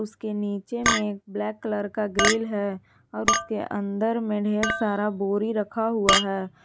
उसके नीचे में ब्लैक कलर का ग्रिल है और उसके अंदर में ढेर सारा बोरी रखा हुआ है।